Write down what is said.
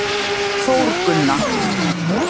Þórgunna